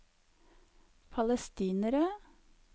palestinere